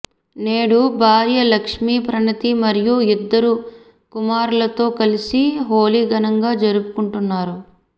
నేడు భార్య లక్ష్మీ ప్రణతి మరియు ఇద్దరు కుమారులతో కలిసి హోళీ ఘనంగా జరుపుకుంటున్నారు